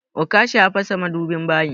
Okasha ya fasa madubin bayin.